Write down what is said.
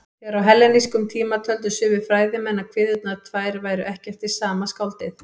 Þegar á hellenískum tíma töldu sumir fræðimenn að kviðurnar tvær væru ekki eftir sama skáldið.